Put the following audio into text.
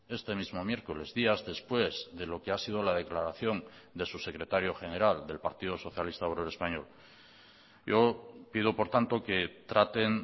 este mismo miércoles días después de lo que ha sido la declaración de su secretario general del partido socialista obrero español yo pido por tanto que traten